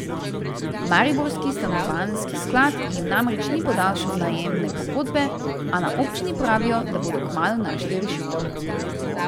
Mariborski stanovanjski sklad jim namreč ni podaljšal najemne pogodbe, a na občini pravijo, da bodo kmalu našli rešitev.